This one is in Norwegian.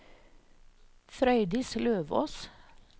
Frøydis Løvås